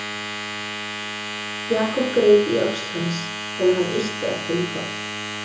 Jakob greip í öxl hans til að hann ylti ekki um koll.